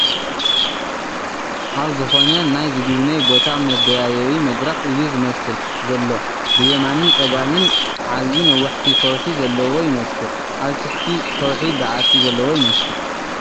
ናብ ዝኾነ ናይ ዝጉብነይ ቦታ መደያየቢ መድረኽ እዩ ዝመስል ዘሎ ብየማንን ፀጋምን ዓብይ ነዋሕቲ ከውሒዘለዎ ይመስል ። ኣብቲ ትሕቲ ከውሒ በዓቲ ዘለዎ ይመስል ።